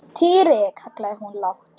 Týri! kallaði hún lágt.